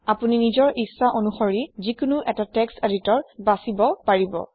আপুনি নিজৰ ইচ্ছা অনুসৰি যিকোনো এটা টেক্সট এদিতৰ বাচিব লব পাৰে